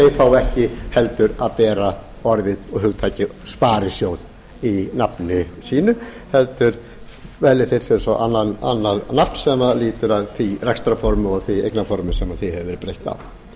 fái ekki heldur að bera orðið og hugtakið sparisjóð í nafni sínu heldur velji þeir sér annað nafn sem lýtur að því rekstrarformi og því eignarformi sem því hefur verið breytt á ég